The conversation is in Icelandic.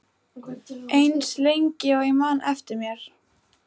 Eins lengi og ég man eftir mér.